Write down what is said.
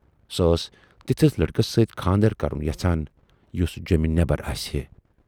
سۅ ٲس تِتھِس لٔڑکس سٍتۍ کھاندر کرُن یَژھان، یُس جیمہِ نٮ۪بر آسہِ ہے۔